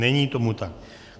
Není tomu tak.